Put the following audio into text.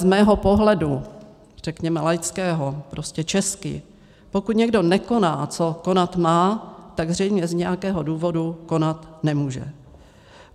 Z mého pohledu, řekněme laického, prostě česky: pokud někdo nekoná, co konat má, tak zřejmě z nějakého důvodu konat nemůže.